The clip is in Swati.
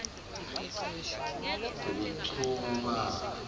tekuchumana